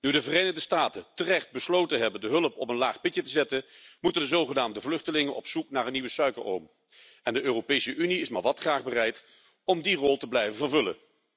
Nu de Verenigde Staten terecht besloten hebben de hulp op een laag pitje te zetten, moeten de zogenaamde vluchtelingen op zoek naar een nieuwe suikeroom en de Europese Unie is maar wat graag bereid om die rol te blijven vervullen.